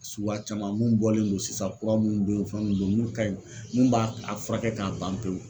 Suguya caman mun bɔlen don sisan kura minnu bɛ ye fɛn mun do mun ka ɲi mun ba a fura kɛ k'a ban pewu.